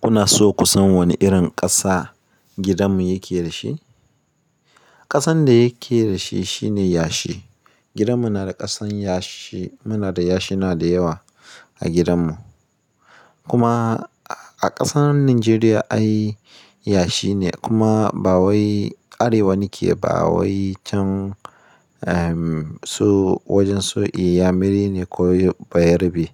Kuna so ku san wane irin ƙasa gidanmu yake da shi? Ƙasan da yake da shi shine yashi. Gidanmu yana da ƙasan yashi. Muna da yashina da yawa a gidanmu. Kuma a ƙasar Najeriya ai yashi ne kuma bawai Arewa nake bawai can. So wajen su iyamiri ne ko bayarabe.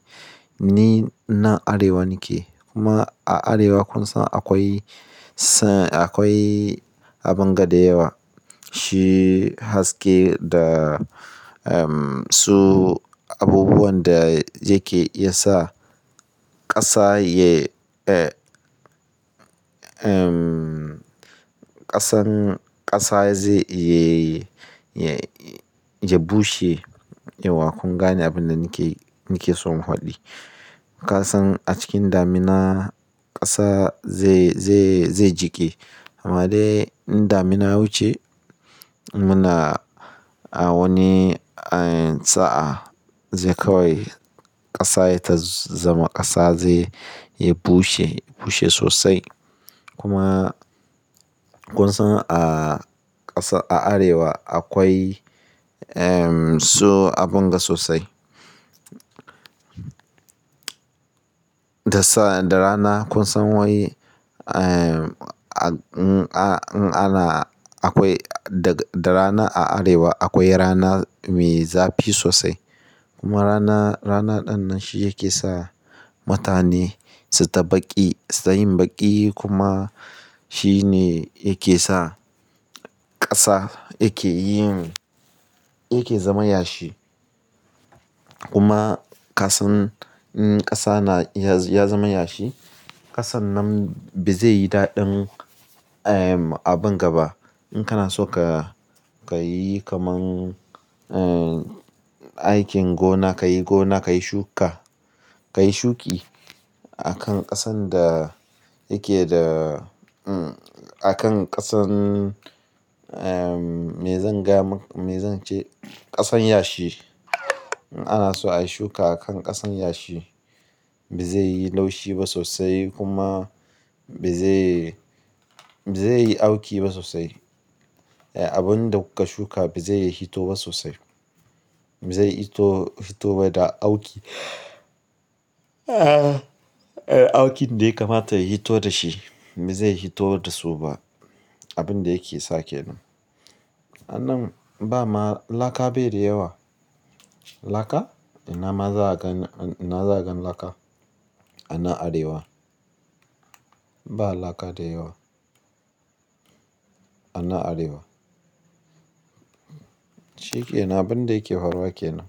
Ni nan Arewa ne ke. Kuma a Arewa kun san akwai sa akwai abin ga da yawa. Shi haske da su abubuwan da yake iyasa ƙasa yai, ƙasan ƙasa zai ya bushe. Yauwa kun gane abin da nake nake so in faɗi. Ƙasan a cikin damina ƙasa zai, zai, zai jike. Amma dai in damina wuce muna a wani sa'a zai kawai ƙasa ta zama ƙasa zai ya bushe, bushe sosai. Kuma kun san a ƙasa a Arewa akwai su abin ga sosai. Da sa da rana kun san wai ana akwai da rana a Arewa akwai rana mai zafi sosai. Kuma rana rana ɗin nan shi yake sa mutane suyi ta ɓaƙi, su yin baƙi kuma shi ne yake sa ƙasa yake yin yake zama yashi. Kuma ƙasan in ƙasa na ya zama yashi ƙasan nan ba zai yi daɗin abin gaba. In kana so ka ka yi kamar aikin gona, ka yi gona, ka yi shuka, ka yi shuki a kan ƙasan da yake da a kan ƙasan mai zan ga me zance ƙasan yashi. In ana so a yi shuka a kan ƙasan yashi ba zai yi laushi ba sosai kuma ba zai ba zai yi auki ba sosai. Abin da kuka shuka ba zai yi hito ba sosai. Ba zai fito fito ba da auki. Aukin daya kamata ya hito da shi ba zai hito da su ba abin da yake sake nan. Sannan ba ma laka bai da yawa. Laka? Ina ma zakagan zakagan laka a na Arewa. Ba laka da yawa a na Arewa. Shike nan abin da yake faruwa kenan.